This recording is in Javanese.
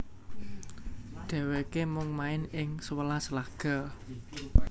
Dhèwèké mung main ing sewelas laga